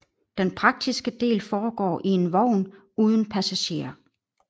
Den praktiske del foregår i en vogn uden passagerer